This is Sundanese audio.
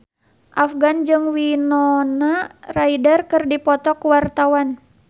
Afgan jeung Winona Ryder keur dipoto ku wartawan